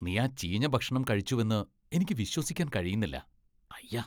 നീ ആ ചീഞ്ഞ ഭക്ഷണം കഴിച്ചുവെന്ന് എനിക്ക് വിശ്വസിക്കാൻ കഴിയുന്നില്ല. അയ്യ !